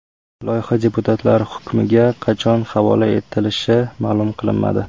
Loyiha deputatlar hukmiga qachon havola etilishi ma’lum qilinmadi.